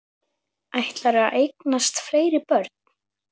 Ætlarðu að eignast fleiri börn?